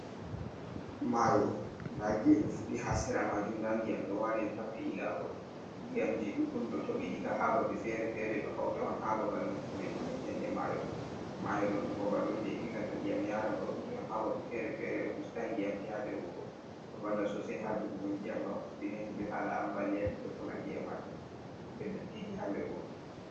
Mayo nda gene fuɗi ha sera majum nda diyam ɗo wali ɗo tappi ilagol, ndiyamji ɗuɗɗum to toɓi diga ha babe fere-fere ɗo hauta on ha babal nokkure ƴounetende mayo, mayo ɗo ɗum babal on je ilnata ndiyam yaran ba ndiyam ha babe fere fere ɗo ustan diyamji ha nder wuro, ɗo valla sosai ha jogugo ndiyam ngam ustina himɓɓe hala ambaliyaji be konandi e majum, be ɗottiji ha nder wuro.